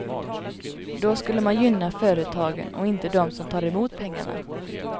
Då skulle man gynna företagen och inte dem som tar emot pengarna.